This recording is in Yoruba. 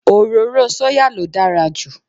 Òróró sóyà ló dára jù